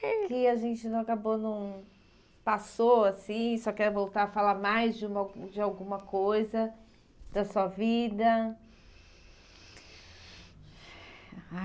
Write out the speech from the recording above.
Que a gente não acabou, não passou assim, senhora quer voltar a falar mais de uma de alguma coisa da sua vida?